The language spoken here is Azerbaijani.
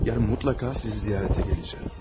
Sabah mütləq sizi ziyarətə gələcəyəm.